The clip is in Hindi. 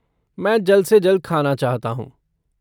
मैं जल्द से जल्द ख़ाना चाहता हूँ।